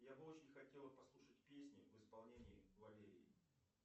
я бы очень хотела послушать песни в исполнении валерии